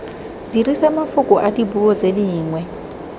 dirisa mafoko adipuo tse dingwe